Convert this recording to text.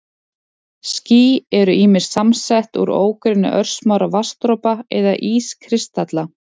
Ský eru ýmist samsett úr ógrynni örsmárra vatnsdropa eða ískristalla.